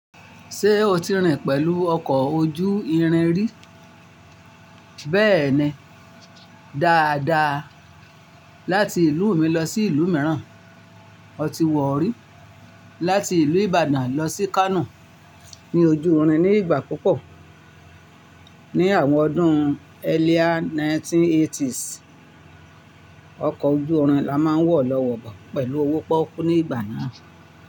Ṣé o ti rìn pẹ̀lú ọkọ̀ ojú irin rí? Bẹ́ẹ̀ni, dáadáa. Láti ìlú mi lọ sí ìlú mìíràn, ọ tí wọ̀ rí. Láti ìlú Ibadan lọ sí Kano, ní ojú irin ní ìgbà púpọ̀. Ni àwọn ọdún earlier 1980s, ọkọ̀ ojú irin la máa ń wọ̀lọ́ wọ́bo pẹ̀lú owó pọ́kú ní ìgbà náà.